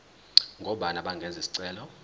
ngobani abangenza isicelo